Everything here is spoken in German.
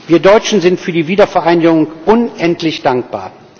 Wir Deutschen sind für die Wiedervereinigung unendlich dankbar.